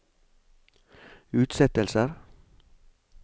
utsettelser